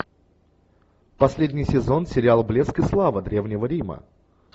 последний сезон сериал блеск и слава древнего рима